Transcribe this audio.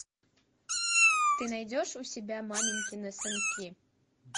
ты найдешь у себя маменькины сынки